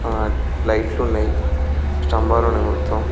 ఆ లైట్ లు ఉన్నాయి స్తంబాలు ఉన్నాయి మొత్తం.